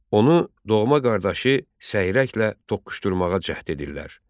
Onu doğma qardaşı Səyrəklə toqquşdurmağa cəhd edirlər.